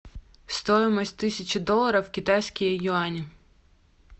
стоимость тысячи долларов в китайские юани